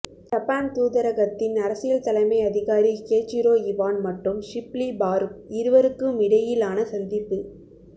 Japan தூதரகத்தின் அரசியல் தலைமை அதிகாரி கேச்சிரோ இவான் மற்றும் ஷிப்லி பாறுக் இருவருக்குமிடையிலான சந்திப்பு